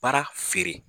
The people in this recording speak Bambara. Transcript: Baara feere